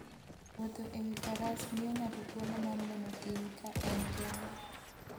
Wuotho e wi faras miyo ng'ato thuolo mar neno thim ka en kende.